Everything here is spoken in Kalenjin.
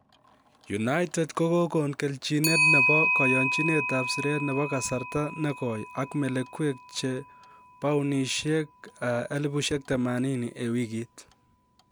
United kogokon kelchinet nebo koyonchinet ab siret nebo kasarta ne goi ak melekwek che paunisiek 80,000 en wigit